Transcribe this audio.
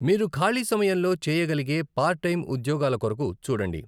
మీరు ఖాళీ సమయంలో చేయగలిగే పార్ట్ టైమ్ ఉద్యోగాల కొరకు చూడండి.